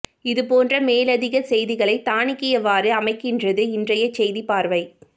இது போன்ற மேலதிக செய்திகளை தானிக்கியவாறு அமைகின்றது இனறைய செய்திப் பார்வை